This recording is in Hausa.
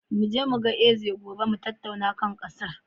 Mu je mu ga Eze gobe mu tattauna kan ƙasar.